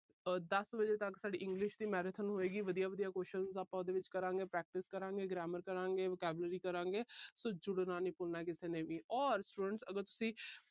ਆਹ ਦਸ ਵਜੇ ਤੱਕ ਸਾਡੀ English ਦੀ marathon ਹੋਏਗੀ। ਵਧੀਆ ਵਧੀਆਂ question ਆਪਾ ਉਹਦੇ ਵਿੱਚ ਕਰਾਂਗੇ। practice ਕਰਾਂਗੇ। grammar ਕਰਾਂਗੇ। vocabulary ਕਰਾਂਗੇ। so ਜੁੜਨਾ ਨੀ ਭੁਲਣਾ ਕਿਸੇ ਨੇ ਵੀ। ਔਰ students ਅਗਰ ਤੁਸੀਂ